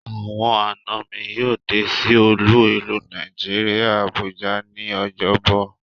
Awon ana mi yoo de si olu ilu Naijiria Abuja ni Ojobo